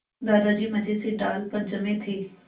दादाजी मज़े से डाल पर जमे थे